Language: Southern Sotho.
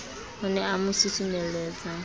o ne a mo susumelletsa